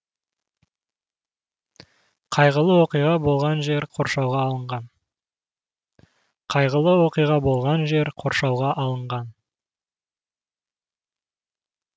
қайғылы оқиға болған жер қоршауға алынған